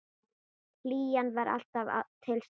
Hlýjan var alltaf til staðar.